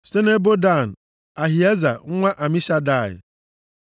site nʼebo Dan, Ahieza nwa Amishadai